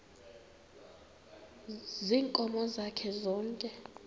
ziinkomo zakhe zonke